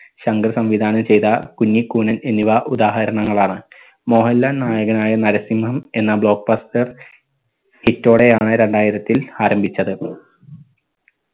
ശങ്കർ സംവിധാനം ചെയ്ത കുഞ്ഞിക്കൂഞ്ഞൻ എന്നിവ ഉദാഹരണങ്ങൾ ആണ്. മോഹൻലാൽ നായകനായ നരസിംഹം എന്ന block buster hit ഓടെയാണ് രണ്ടായിരത്തിൽ ആരംഭിച്ചത്.